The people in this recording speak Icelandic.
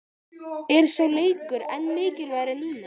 Er sá leikur enn mikilvægari núna?